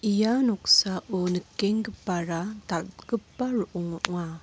ia noksao nikenggipara dal·gipa ro·ong ong·a.